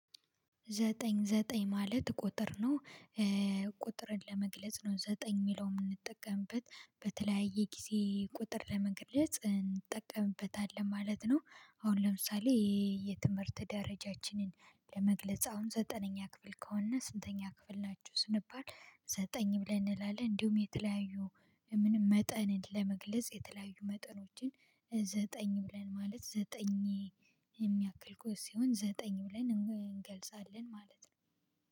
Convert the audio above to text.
ዘጠኝ ዘጠኝ ማለት ቁጥር ነው። ቁጥርን ለመግለጽ ነው ዘጠኝ እሚለው እምንጠቀምበት በተለያየ ጊዜ ቁጥር ለመግለጽ እንጠቀምበታለን ማለት ነው። አሁን ለምሳሌ የትምህርት ደረጃችንን ለመግለጽ አሁን ዘጠነኛ ክፍል ከሆነ ስንተኛ ክፍል ናችሁ ስንባል ዘጠኝ ብለን እንላለን። እንዲሁም የተለያዩ ምንም መጠንን ለመግለጽ የተለያዩ መጠኖችን ብለን ማለት ዘጠኝ የሚያክል ጎዝ ሲሆን ዘጠኝ ብለን እንገልጻለን ማለት ነው